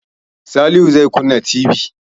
Salihu zai kunna TV.